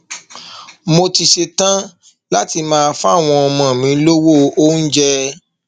mo sì ṣetán láti máa fáwọn ọmọ mi lọwọ oúnjẹ